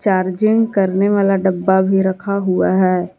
Charging करने वाला डब्बा भी रखा हुआ है।